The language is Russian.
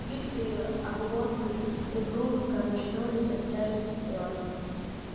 гибкие оглобли упруго качнулись от тяжести тела